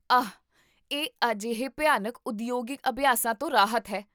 ਆਹ! ਇਹ ਅਜਿਹੇ ਭਿਆਨਕ ਉਦਯੋਗਿਕ ਅਭਿਆਸਾਂ ਤੋਂ ਰਾਹਤ ਹੈ